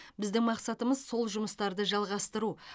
біздің мақсатымыз сол жұмыстарды жалғастыру